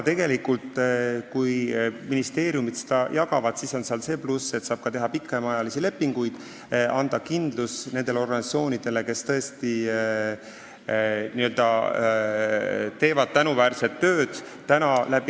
Sellel, kui ministeeriumid seda raha jagavad, on see pluss, et siis saab teha ka pikemaajalisi lepinguid ja anda kindlus nendele organisatsioonidele, kes tõesti tänuväärset tööd teevad.